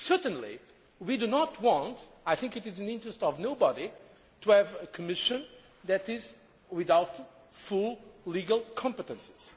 Certainly we do not want I think it is in nobody's interests to have a Commission that is without full legal competences.